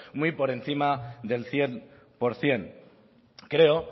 muy por encima del cien por ciento creo